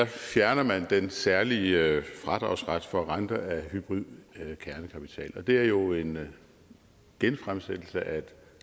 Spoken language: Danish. fjerner man den særlige fradragsret for renter af hybrid kernekapital og det er jo en genfremsættelse af et